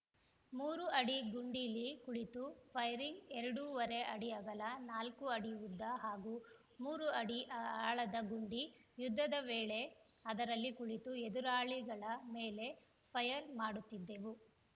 ಮೂರು ಅಡಿ ಗುಂಡೀಲಿ ಕುಳಿತು ಫೈರಿಂಗ್‌ ಎರಡೂವರೆ ಅಡಿ ಅಗಲ ನಾಲ್ಕು ಅಡಿ ಉದ್ದ ಹಾಗೂ ಮೂರು ಅಡಿ ಆಳದ ಗುಂಡಿ ಯುದ್ಧದ ವೇಳೆ ಅದರಲ್ಲಿ ಕುಳಿತು ಎದುರಾಳಿಗಳ ಮೇಲೆ ಫೈರ್‌ ಮಾಡುತ್ತಿದ್ದೆವು